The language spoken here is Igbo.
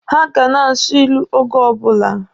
Ha ga na-asụ ilu oge ọbụla.